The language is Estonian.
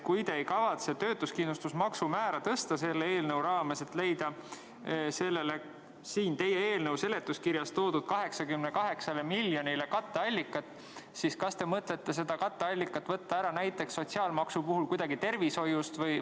Kui te ei kavatse töötuskindlustusmaksu määra tõsta selle eelnõu raames, leida sellele siin teie eelnõu seletuskirjas toodud 88 miljonile katteallikat, siis kas te mõtlete selle katteallika võtta ära näiteks sotsiaalmaksu puhul kuidagi tervishoiust?